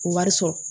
O wari sɔrɔ